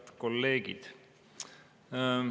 Head kolleegid!